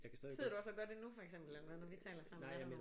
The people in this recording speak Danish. Sidder du også og gør det nu for eksempel eller når vi taler sammen